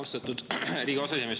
Austatud Riigikogu aseesimees!